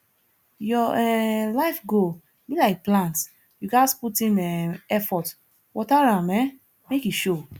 your um life goal be like plant you ghas put in um effort water am um make e show